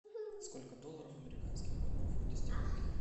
сколько долларов американских в одном фунте стерлингов